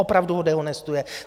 Opravdu ho dehonestuje!